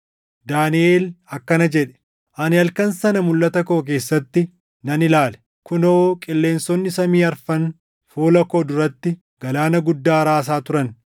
Daaniʼel akkana jedhe; “Ani halkan sana mulʼata koo keessatti nan ilaale; kunoo qilleensonni samii afran fuula koo duratti galaana guddaa raasaa turan.